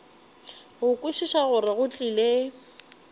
go kwešiša gore go tlile